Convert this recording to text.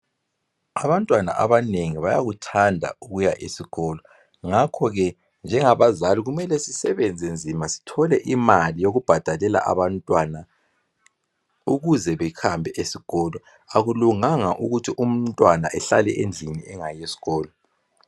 Abantwana abanengi bayakuthanda ukuya esikolo ngakho ke njengabazali kumele sisebenze nzima sithole imali yokubhadalela abantwana ukuze behambe esikolo, akulunganga ukuthi umntwana ehlale endlini engayi esikolo.